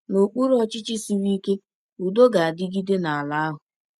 N’okpuru ọchịchị siri ike, udo ga-adịgide n’ala ahụ.